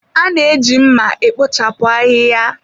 A na-eji mma e kpochapụ ahịhịa.